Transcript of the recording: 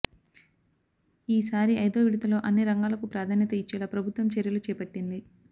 ఈ సారి ఐదో విడతలో అన్ని రంగాలకు ప్రాధాన్యత ఇచ్చేలా ప్రభుత్వం చర్యలు చేపట్టింది